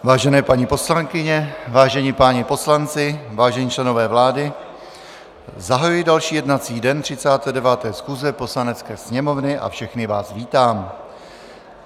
Vážené paní poslankyně, vážení páni poslanci, vážení členové vlády, zahajuji další jednací den 39. schůze Poslanecké sněmovny a všechny vás vítám.